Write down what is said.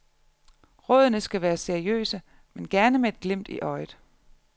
Rådene skal være seriøse, men gerne med et glimt i øjet.